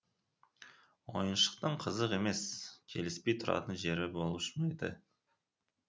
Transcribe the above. ойыншықтың қызық емес келіспей тұратын жері болушы ма еді